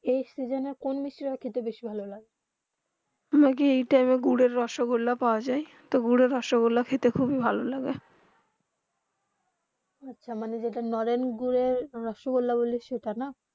এই সিজন কোন মিষ্টি তা খেলে ভালো লাগে ত্তমকে এই টাইম গুড়ের রসগুলা পৰা যায় তো রসগুলা খেতে খুব ভালো লাগে আচ্ছা যেটা নরেন গুড়ের রসোগুল্লা বলে সেটা না